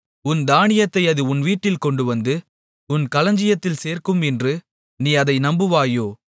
உன் தானியத்தை அது உன்வீட்டில் கொண்டுவந்து உன் களஞ்சியத்தில் சேர்க்கும் என்று நீ அதை நம்புவாயோ